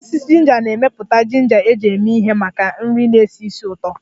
Osisi ginger na-emepụta ginger eji eme ihe maka nri na-esi ísì ụtọ